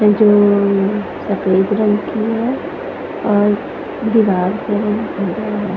ये जो सफ़ेद रंग की है और उनके बाद में--